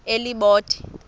elibode